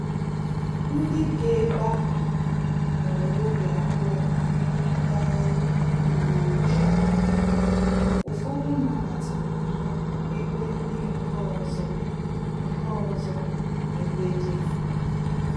Ndị bi ebe aha nwere obi abụọ banyere ngagharị ndị uwe ojii, ụfọdụ nabatara ha ebe ndị nke ọzọ nke ọzọ nọ ebe dị anya